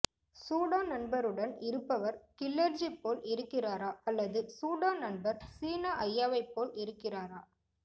Sudan நண்பருடன் இருப்பவர் கில்லர்ஜி போல் இருக்கிறாரா அல்லது சூடான் நண்பர் சீனா ஐயாவைப் போல் இருக்கிறாரா